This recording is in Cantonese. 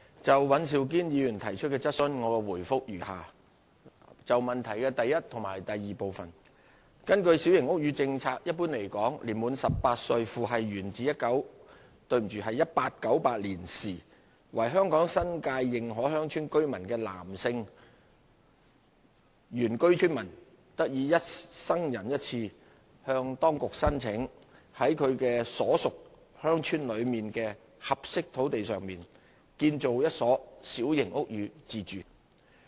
就尹兆堅議員提出的質詢，我答覆如下：一及二根據小型屋宇政策，一般來說，年滿18歲，父系源自1898年時為香港新界認可鄉村居民的男性原居村民，得以一生人一次向當局申請，在其所屬鄉村內的合適土地上建造一所小型屋宇自住。